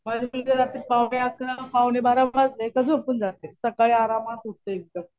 माझी मुलगी रात्री पाऊणे अकरा, पाऊणे बारा वाजले का झोपून जाते. सकाळी आरामात उठते एकदम.